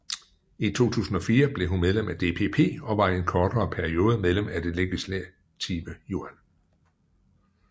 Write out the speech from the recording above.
I 2004 blev hun medlem af DPP og var i en kortere periode medlem af Det legislative Yuan